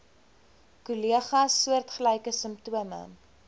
kollegas soortgelyke simptome